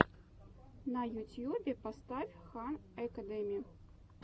на ютьюбе поставь хан экэдеми